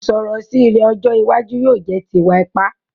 Ìsọ̀rọ̀ sí rẹ ni ọjọ́ iwájú yóò jẹ ti ìwà ipa